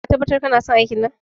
Ka tabbatar kanason aikin nan?